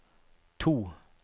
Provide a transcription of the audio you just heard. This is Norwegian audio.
to